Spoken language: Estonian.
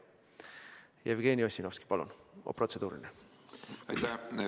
Jevgeni Ossinovski, palun, protseduuriline küsimus!